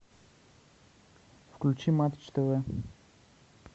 включи матч тэ вэ